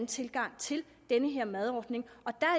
tilgang til den her madordning og